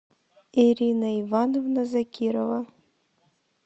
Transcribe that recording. ирина ивановна закирова